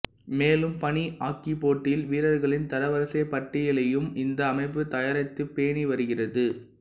மேலும் பனி ஆக்கிப் போட்டியில் வீரர்களின் தரவரிசைப் பட்டியலையும் இந்த அமைப்பு தயாரித்துப் பேணி வருகிறது